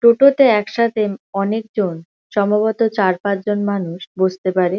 টোটোতে একসাথে অনেকজন সম্বভত চারপাঁচজন মানুষ বসতে পারে ।